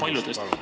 Küsimus, palun!